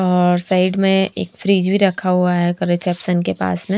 और साइड में एक फ्रिज भी रखा हुआ है रिसेप्शन के पास में।